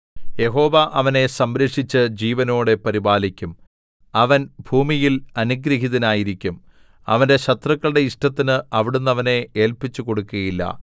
യഹോവ അവനെ സംരക്ഷിച്ച് ജീവനോടെ പരിപാലിക്കും അവൻ ഭൂമിയിൽ അനുഗൃഹീതനായിരിക്കും അവന്റെ ശത്രുക്കളുടെ ഇഷ്ടത്തിന് അവിടുന്ന് അവനെ ഏല്പിച്ചു കൊടുക്കുകയില്ല